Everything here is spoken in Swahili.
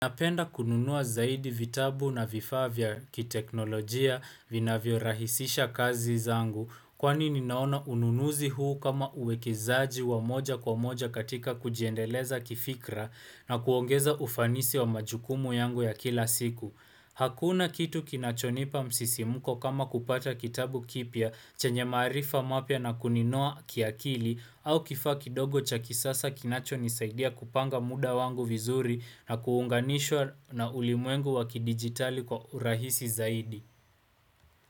Napenda kununua zaidi vitabu na vifaa vya kiteknolojia vinavyorahisisha kazi zangu. Kwani ninaona ununuzi huu kama uwekezaji wa moja kwa moja katika kujiendeleza kifikra na kuongeza ufanisi wa majukumu yangu ya kila siku. Hakuna kitu kinachonipa msisimuko kama kupata kitabu kipya chenye maarifa mapya na kuninoa kiakili au kifaa kidogo cha kisasa kinachonisaidia kupanga muda wangu vizuri na kuunganishwa na ulimwengu wa kidigitali kwa urahisi zaidi.